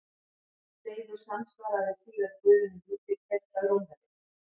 Seifur samsvaraði síðar guðinum Júpíter hjá Rómverjum.